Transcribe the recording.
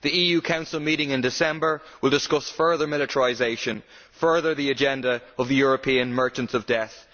The EU Council meeting in December will discuss further militarisation further the agenda of the European merchants of death.